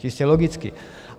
Čistě logicky.